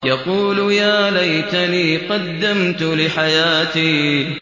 يَقُولُ يَا لَيْتَنِي قَدَّمْتُ لِحَيَاتِي